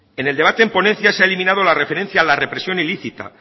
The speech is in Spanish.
en el debate en ponencia se ha eliminado la referencia la represión ilícita